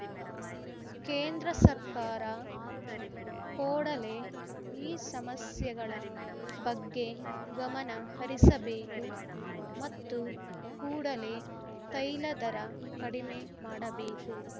ಕೇಂದ್ರ ಸರ್ಕಾರ ಕೋಡಲೇ ಈ ಸಮಸ್ಯೆಗಳ ಬಗ್ಗೆ ಗಮನ ಹರಿಸಬೇಕು ಮತ್ತು ಕೂಡಲೇ ತೈಲ ದರ ಕಡಿಮೆ ಮಾಡಬೇಕು